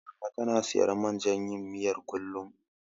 Mama tana siyan man jan yin miyar, kullum.